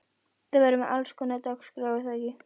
Þið verðið með allskonar dagskrá er það ekki?